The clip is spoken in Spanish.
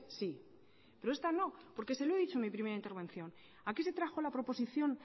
sí pero esta no porque se lo he dicho en mi primera intervención aquí se trajo la proposición